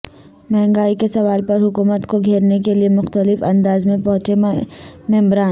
مہنگائی کے سوال پر حکومت کو گھیرنے کیلئےمختلف اندازمیں پہنچے ممبران